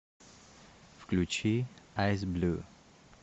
включи айс блю